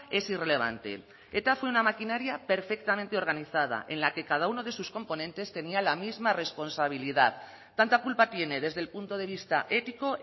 es irrelevante eta fue una maquinaria perfectamente organizada en la que cada uno de sus componentes tenía la misma responsabilidad tanta culpa tiene desde el punto de vista ético